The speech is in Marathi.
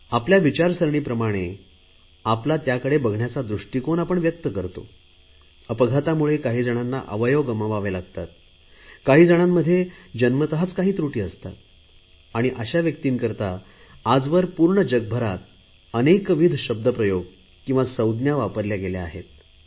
आपल्या विचारसरणीप्रमाणे आपला त्याकडे बघण्याचा दृष्टीकोन काही जणांना अवयव गमवावे लागतात काही जणांमध्ये जन्मतच काही त्रुटी असते आणि अशा व्यक्तींकरता आजवर पूर्ण जगभरात अनेकविध शब्दप्रयोग संज्ञा वापरल्या गेल्या आहेत